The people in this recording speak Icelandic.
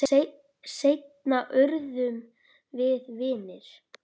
Seinna urðum við vinir.